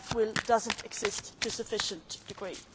That will does not exist to a sufficient degree.